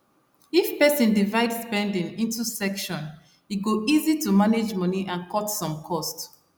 if person divide spending into section e go easy to manage money and cut some cost